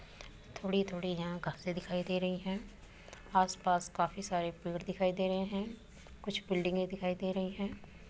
थोड़ी-थोड़ी यहाँ घासें दिखाई दे रहीं हैं। आस पास काफी सारे पेड़ दिखाई दे रहे हैं। कुछ बिल्डिंगे दिखाई दे रहीं हैं।